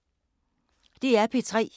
DR P3